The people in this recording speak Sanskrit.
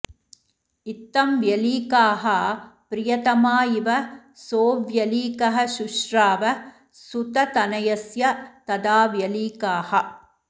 इत्थं व्यलीकाः प्रियतमा इव सोऽव्यलीकः शुश्राव सूततनयस्य तदा व्यलीकाः